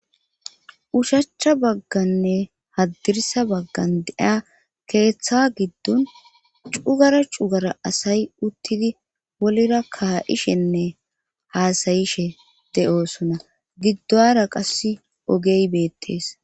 ushachcha bagganne haddirisa baggan deiya keeththa giddon cugara cugara asay uttidi wolira kaa7ishenne haasayishe de7oosona giddoara qasse ogey beettees